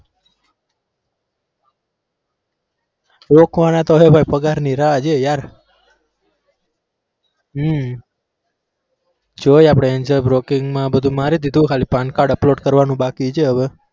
રોકવાના તો છે પણ પગારની રાહ જોઉં યાર હમ જોઈએ આપણે angel broking માં બધું મારી દીધું ખાલી pan card upload કરવાનું બાકી છે હવે.